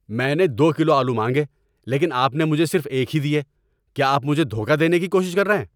میں نے دو کلو آلو مانگے لیکن آپ نے مجھے صرف ایک ہی دیے۔ کیا آپ مجھے دھوکہ دینے کی کوشش کر رہے ہیں؟